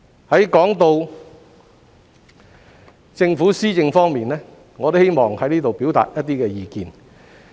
說到支持政府施政方面，我希望在這裏表達一些意見。